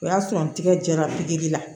O y'a sɔrɔ n tigɛ jɛra pikiri la